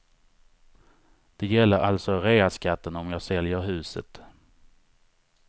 Det gäller alltså reaskatten om jag säljer huset.